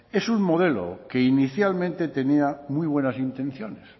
es un modelo que inicialmente tenía muy buenas intenciones